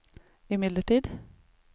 imidlertid